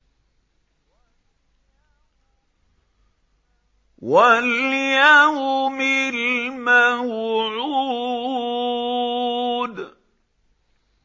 وَالْيَوْمِ الْمَوْعُودِ